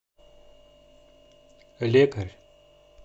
лекарь